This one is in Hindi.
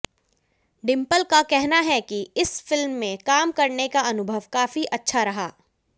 डिंपल का कहना है कि इस फिल्म में काम करने का अनुभव काफी अच्छा रहा